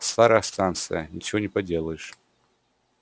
старая станция ничего не поделаешь